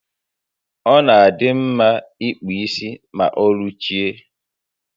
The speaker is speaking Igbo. Ọ na adị mma ịkpụ isi ma oruchie